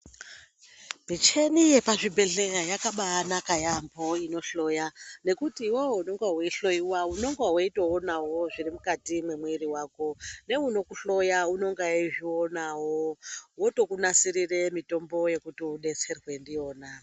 Michini yepazvibhedhleya yakabaanaka yaambo inohloya, nekuti iwewe unonga weihloyiwa unonga weitoonawo zviri mukati memwiri wako neunokuhloya unonga eizvionawo. Otokunasirire mitombo yekuti udetserwe ndiyona.